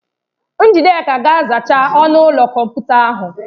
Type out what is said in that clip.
Njideka ga-azacha ọnụ ụlọ kọmputa ahụ.